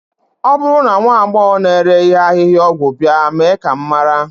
ọ bụrụ na nwa agbọghọ na-ere ihe ahịhịaọgwụ bịa, mee ka m mara